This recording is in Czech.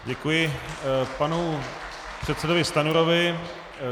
Děkuji panu předsedovi Stanjurovi.